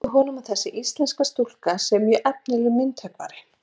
Segir honum að þessi íslenska stúlka sé mjög efnilegur myndhöggvari.